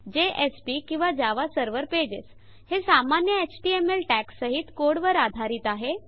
JSP किंवा Java server pages हे सामान्य एचटीएमएल टॅग्स सहित कोड वर आधारित आहे